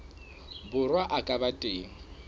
borwa a ka ba teng